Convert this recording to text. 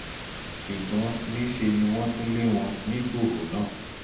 ṣùgbọ́n níṣẹ́ ni wọ́n tún lé wọn nígbòhò náà